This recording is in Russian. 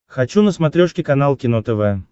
хочу на смотрешке канал кино тв